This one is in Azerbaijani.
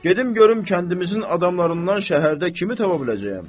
Gedim görüm kəndimizin adamlarından şəhərdə kimi tapa biləcəyəm.